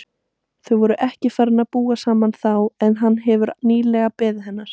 Þau voru ekki farin að búa saman þá en hann hafði nýlega beðið hennar.